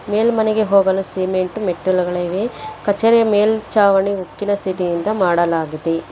ಮೇಲ್ಮನೆಗೆ ಹೋಗಲು ಸಿಮೆಂಟ್ ಮೆಟ್ಟಿಲುಗಳಿವೆ ಕಚೇರಿ ಮೇಲ್ ಚಾವಣಿ ಉಕ್ಕಿನ ಸೀಟಿ ಯಿಂದ ಮಾಡಲಾಗಿದೆ.